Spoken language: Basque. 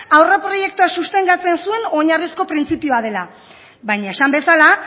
aurreproiektua sostengatzen zuen oinarrizko printzipioa dela baina esan bezala